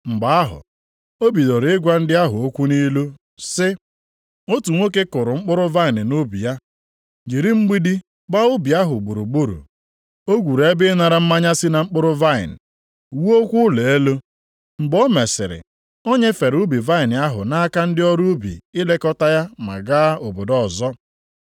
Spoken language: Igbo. Mgbe ahụ, ọ bidoro ịgwa ndị ahụ okwu nʼilu sị, “Otu nwoke kụrụ mkpụrụ vaịnị nʼubi ya, jiri mgbidi gbaa ubi ahụ gburugburu. O gwuru ebe ịnara mmanya si na mkpụrụ vaịnị, wuokwa ụlọ elu. Mgbe o mesịrị, o nyefere ubi vaịnị ahụ nʼaka ndị ọrụ ubi ilekọta ya ma gaa obodo ọzọ.